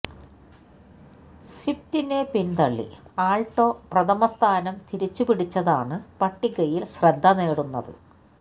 സ്വിഫ്റ്റിനെ പിന്തള്ളി ആള്ട്ടോ പ്രഥമ സ്ഥാനം തിരിച്ചുപിടിച്ചതാണ് പട്ടികയില് ശ്രദ്ധ നേടുന്നത്